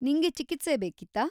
ನಿಂಗೆ ಚಿಕಿತ್ಸೆ ಬೇಕಿತ್ತಾ?